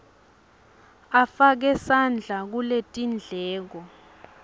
afake sandla kuletindleko